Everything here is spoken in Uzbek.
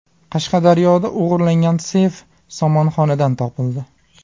Qashqadaryoda o‘g‘irlangan seyf somonxonadan topildi.